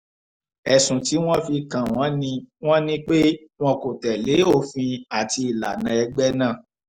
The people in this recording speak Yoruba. ẹ̀sùn tí wọ́n fi kàn wọ́n ni wọ́n ni pé wọn kò tẹ̀lé òfin àti ìlànà ẹgbẹ́ náà